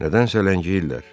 Nədənsə ləngiyirlər.